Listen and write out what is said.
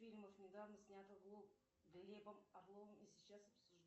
фильмов недавно снятых глебом орловым и сейчас